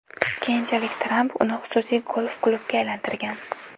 Keyinchalik Tramp uni xususiy golf-klubga aylantirgan.